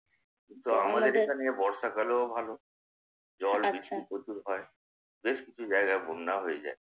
তো আমাদের এখানে বর্ষাকালও ভালো। জল-বৃষ্টি প্রচুর হয়। বেশকিছু জায়গায় বন্যাও হয়ে যায়।